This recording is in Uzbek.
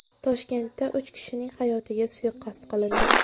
Toshkentda uch kishining hayotiga suiqasd qilindi.